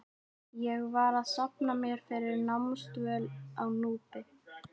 Ég var að safna mér fyrir námsdvöl á Núpi.